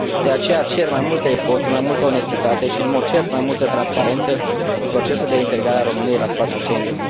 De aceea, cer mai multe eforturi, mai multă onestitate și, în mod cert, mai multă transparență în procesul de integrare a României la spațiul Schengen.